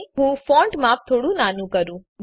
ચાલો હું ફોન્ટ માપ થોડું નાનું કરું